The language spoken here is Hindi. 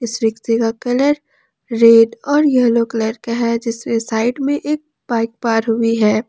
इस रिक्शा का कलर रेड और येलो कलर का है जिसके साइड में एक बाइक पार हुई है।